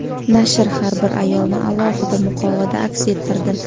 Nashr har bir ayolni alohida muqovada aks ettirdi.